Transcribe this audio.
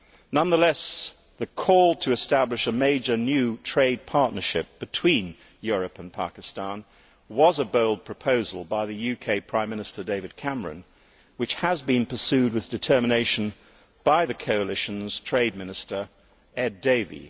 Nonetheless, the call to establish a major new trade partnership between Europe and Pakistan was a bold proposal by the UK Prime Minister David Cameron, which has been pursued with determination by the coalition's Trade Minister, Ed Davey.